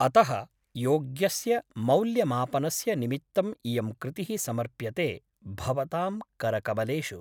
अतः योग्यस्य मौल्यमापनस्य निमित्तम् इयं कृतिः समर्प्यते भवतां करकमलेषु ।